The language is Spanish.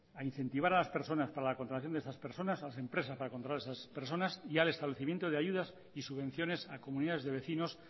a incentivar a las personas para la contratación de esas personas a las empresas para contratar esas personas y al establecimiento de ayudas y subvenciones a comunidades de vecinos